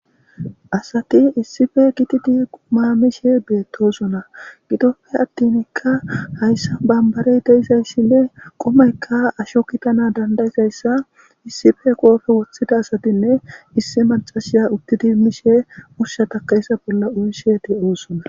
Asati issife kititi quma mishe beettosona gidoppe attinikka hayssa bambarey deizayssinne qumeykka asho kitana dandayisayssa issife qoofe woththida asatinne issi macashiya uttidi mishe ushshatakayssa bolla uyishe de7oosona